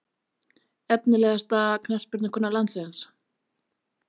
Efnilegasta knattspyrnukona landsins?